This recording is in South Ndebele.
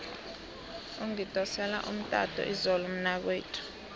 ungidosele umtato izolo umnakwethu